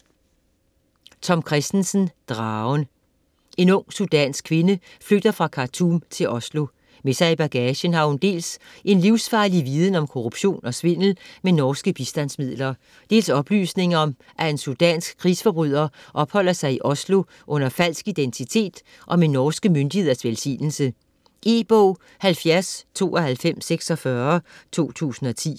Kristensen, Tom: Dragen En ung sudansk kvinde flygter fra Khartoum til Oslo. Med sig i bagagen har hun dels en livsfarlig viden om korruption og svindel med norske bistandsmidler, dels oplysninger om at en sudansk krigsforbryder opholder sig i Oslo under falsk identitet og med de norske myndigheders velsignelse. E-bog 709246 2010.